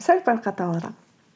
сәл пәл қаталырақ